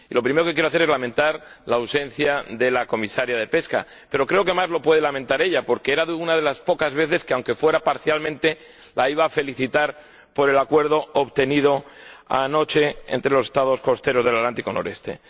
Y lo primero que quiero hacer es lamentar la ausencia de la Comisaria de Pesca, pero creo que más lo puede lamentar ella, porque era una de las pocas veces que, aunque fuera parcialmente, la iba a felicitar por el acuerdo obtenido anoche entre los Estados costeros del Atlántico nororiental.